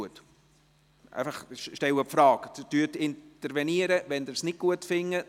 Intervenieren Sie, wenn Sie es nicht gut finden.